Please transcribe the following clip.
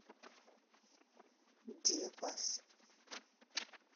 девас